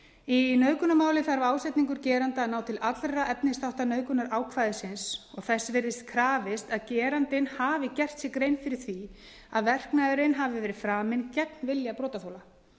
í nauðgunarmáli þarf ásetningur geranda að ná til allra efnisþátta nauðgunarákvæðisins og þess virðist krafist að gerandinn hafi gert sér grein fyrir því að verknaðurinn hafi verið framinn gegn vilja brotaþola